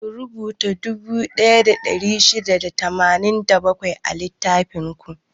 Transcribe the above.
Ku rubuta dubu ɗaya da ɗari shida da tamanin da bakwai a littafin ku!